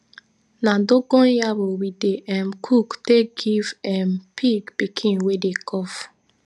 na dogon yaro we dey um cook take give um pig pikin wey dey cough